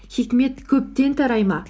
хикмет көптен тарай ма